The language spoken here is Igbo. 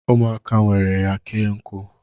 ...ụmụaka ewere ya kee nkụ